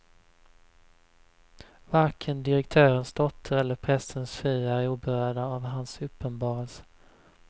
Varken direktörens dotter eller prästens fru är oberörda av hans uppenbarelse.